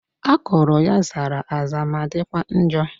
Akụrụ ya zara aza ma dịkwa njọ